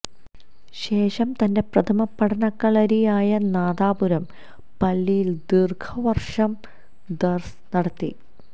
ശേഷം തന്റെ പ്രഥമ പഠനകളരിയായ നാദാപുരം പള്ളിയില് ദീര്ഘവര്ഷം ദര്സ് നടത്തി